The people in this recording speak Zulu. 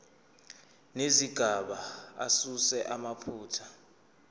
nezigaba asuse amaphutha